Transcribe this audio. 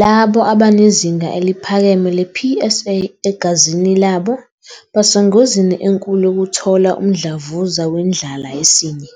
Labo abanezinga eliphakeme le-PSA egazini labo basengozini enkulu yokuthola umdlavuza wendlala yesinye.